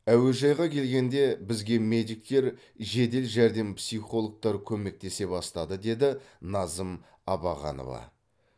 әуежайға келгенде бізге медиктер жедел жәрдем психологтар көмектесе бастады деді назым абағанова